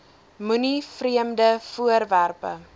moenie vreemde voorwerpe